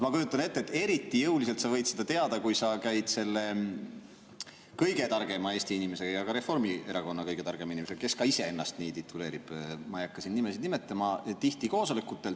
Ma kujutan ette, et eriti jõuliselt sa võid seda teada, kui sa käid selle kõige targema Eesti inimesega ja ka Reformierakonna kõige targema inimesega – kes ka ise ennast nii tituleerib, ma ei hakka siin nimesid nimetama – tihti koosolekutel.